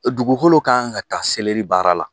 Dugukolo ka kan ka ta seleri baara la